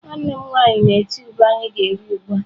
Nwanne m nwaanyị na-eti ube anyi ga eri ugbua.